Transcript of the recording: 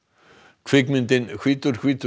kvikmyndin hvítur hvítur